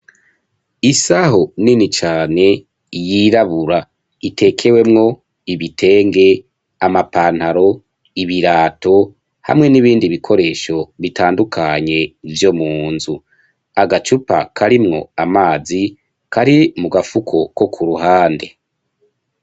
isaho nini cane yirabura itekewemwo ibitenge amapantaro ibirato hamwe n'ibindi bikoresho bitandukanye vyo munzu agacupa karimwo amazi kari mu gafuko ko ku ruhande.